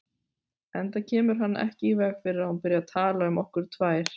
Enda kemur hann ekki í veg fyrir að hún byrji að tala um okkur tvær.